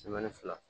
fila